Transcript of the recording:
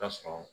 Tasɔrɔ